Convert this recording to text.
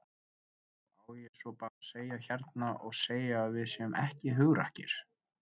Og á ég svo bara að segja hérna og segja að við séum ekki hugrakkir?